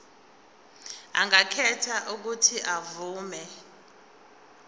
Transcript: angakhetha uuthi avume